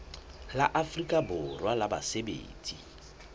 la afrika borwa la basebetsi